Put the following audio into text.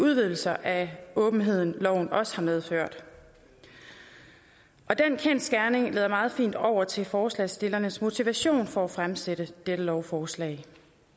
udvidelser af åbenheden loven også har medført og den kendsgerning leder meget fint over til forslagsstillernes motivation for at fremsætte dette lovforslag